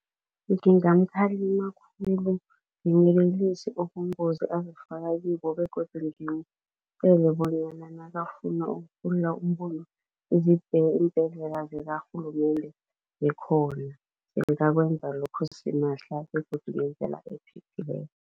Ngingamkhalima khulu, ngimyelelilise ubungozi azifaka kibo begodu bonyana nakafuna eembhedlela zikarhulumende ngikhona ngingakwenza lokho simahla begodu ngendlela ephephileko.